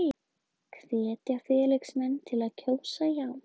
Hvetja félagsmenn til að kjósa já